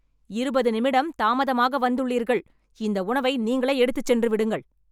இருபது நிமிடம் தாமதமாக வந்துள்ளீர்கள் இந்த உணவை நீங்களே எடுத்துச் சென்று விடுங்கள்